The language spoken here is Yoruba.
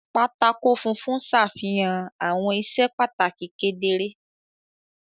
Pátákó funfun ṣàfihàn àwọn iṣẹ́ pàtàkì kedere.